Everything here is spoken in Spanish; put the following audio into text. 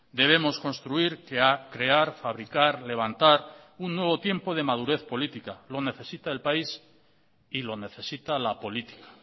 debemos construir que ha crear fabricar levantar un nuevo tiempo de madurez política lo necesita el país y lo necesita la política